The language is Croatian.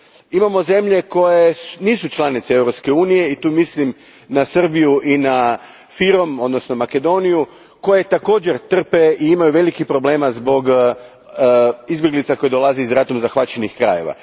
Imamo zemlje koje nisu članice Europske unije i tu mislim na Srbiju i na FYROM, odnosno Makedoniju, koje također trpe i imaju velikih problema zbog izbjeglica koje dolaze iz ratom zahvaćenih krajeva.